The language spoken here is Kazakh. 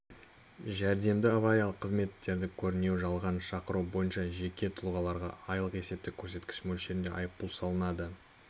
жәрдемді авариялық қызметтерді көрінеу жалған шақыру бойынша жеке тұлғаларға айлық есептік көрсеткіш мөлшерінде айыппұл салынады